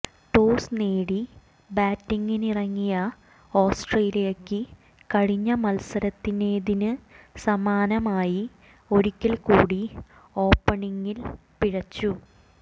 toss നേടി ബാറ്റിങ്ങിനിറങ്ങിയ ഓസ്ട്രേലിയയ്ക്ക് കഴിഞ്ഞ മത്സരത്തിനേതിന് സമാനമായി ഒരിക്കൽ കൂടി ഓപ്പണിങ്ങിൽ പിഴച്ചു